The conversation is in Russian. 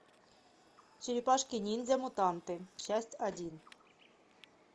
черепашки ниндзя мутанты часть один